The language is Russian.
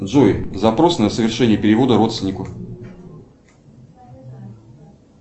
джой запрос на совершение перевода родственнику